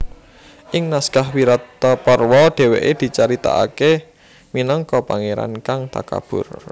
Ing naskah Wirataparwa dhéwékè dicaritakaké minangka pangéran kang takabur